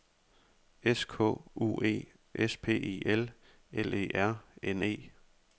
S K U E S P I L L E R N E